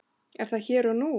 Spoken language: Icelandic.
Er það hér og nú?